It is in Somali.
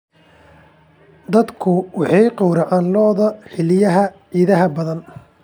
Dadku waxay gowracaan lo'da xilliyada ciidaha badan.